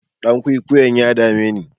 Ɗan kwikwiyon ya dame jiya.